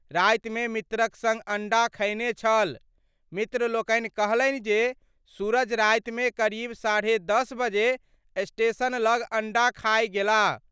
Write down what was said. राति मे मित्रक संग अंडा खयने छल : मित्र लोकनि कहलनि जे, सूरज राति मे करीब साढ़े दस बजे स्टेशन लग अंडा खाए गेलाह।